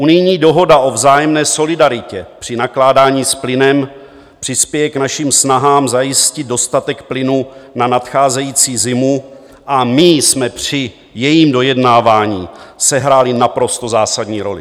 Unijní dohoda o vzájemné solidaritě při nakládání s plynem přispěje k našim snahám zajistit dostatek plynu na nadcházející zimu a my jsme při jejím dojednávání sehráli naprosto zásadní roli.